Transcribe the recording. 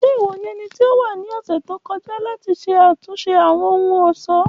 Ṣe iwọ ni ẹniti o wa ni ọsẹ to kọja lati ṣe atunṣe Awọn ohun-ọṣọ?